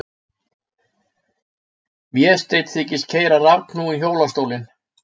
Vésteinn þykist keyra rafknúinn hjólastólinn.